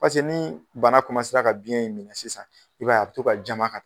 Paseke ni bana ka biɲɛ in minɛ sisan, i b'a ye a be to ka jama ka taa.